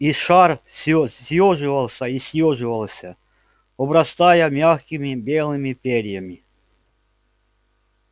и шар всё съёживался и съёживался обрастая мягкими белыми перьями